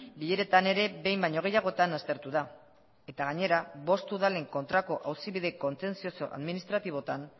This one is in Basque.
bileretan ere behin baino gehiagotan aztertu da eta gainera bost udalen kontrako auzibide kontentzioso administratibotan